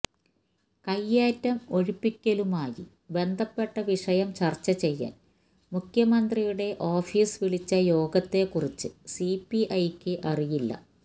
കൈയേറ്റം ഒഴിപ്പിക്കലുമായി ബന്ധപ്പെട്ട വിഷയം ചർച്ച ചെയ്യാൻ മുഖ്യമന്ത്രിയുടെ ഓഫീസ് വിളിച്ച യോഗത്തെ കുറിച്ച് സിപിഐയ്ക്ക് അറിയില്ല